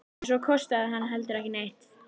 Og svo kostaði hann heldur ekki neitt!